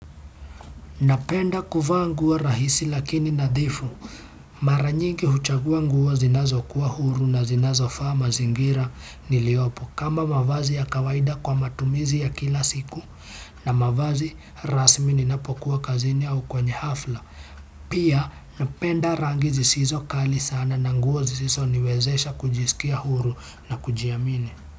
Napenda kuvaa nguo rahisi lakini nadhifu. Mara nyingi huchagua nguo zinazokuwa huru na zinazofaa mazingira niliyopo kama mavazi ya kawaida kwa matumizi ya kila siku na mavazi rasmi ninapokuwa kazini au kwenye hafla. Pia napenda rangi zisizo kali sana na nguo zisizo niwezesha kujisikia huru na kujiamini.